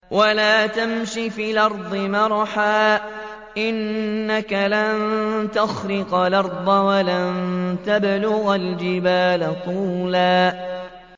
وَلَا تَمْشِ فِي الْأَرْضِ مَرَحًا ۖ إِنَّكَ لَن تَخْرِقَ الْأَرْضَ وَلَن تَبْلُغَ الْجِبَالَ طُولًا